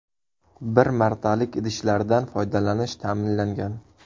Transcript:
Bir martalik idishlardan foydalanish ta’minlangan.